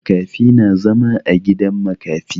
Makafi na zama a gidan makafi.